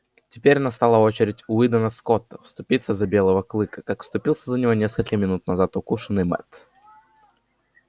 теперь настала очередь уидона скотта вступиться за белого клыка как вступился за него несколько минут назад укушенный мэтт